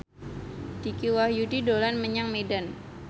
Dicky Wahyudi dolan menyang Medan